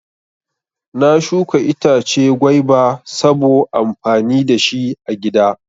Na shuka itace gwaiba sabo amfani dashi agida